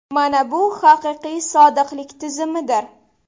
Mana bu haqiqiy sodiqlik tizimidir.